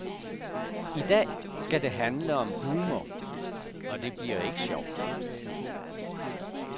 I dag skal det handle om humor, og det bliver ikke sjovt.